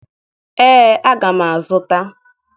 ee, aga m azụta.